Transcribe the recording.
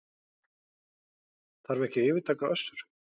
Þarf ekki að yfirtaka Össur